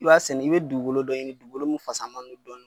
I b'a sɛnɛ i bɛ dugukolo dɔ ɲini dugukolo mun fasama don dɔɔnin.